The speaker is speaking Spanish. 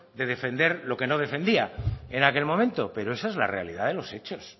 de defender lo que no defendía en aquel momento pero esa es la realidad de los hechos